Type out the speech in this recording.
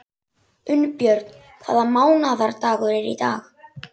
Unnbjörn, hvaða mánaðardagur er í dag?